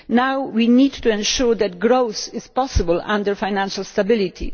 now we need to ensure that growth is possible under financial stability.